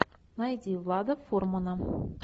найди влада фурмана